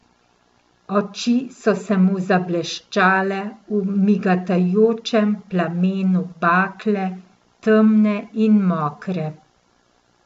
Oči so se mu zableščale v migetajočem plamenu bakle, temne in mokre.